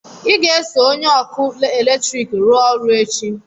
ị ga-eso onye ọkụ eletrik rụọ ọrụ echi!